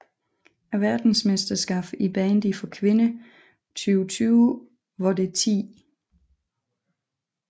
Verdensmesterskabet i bandy for kvinder 2020 var det 10